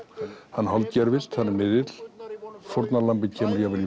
hann hann er miðill fórnarlambið kemur jafnvel